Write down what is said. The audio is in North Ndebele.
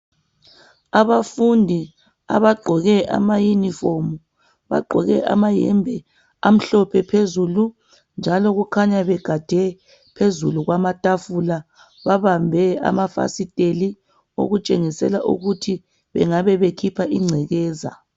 Abafundi abagqoke amayunifomu bagqoke amayembe amhlophe phezulu njalo kukhanya bagade phezulu kwamatafula babambe amafasitela okutshengisela ukuthi bengabe bekhipha ingcekeza.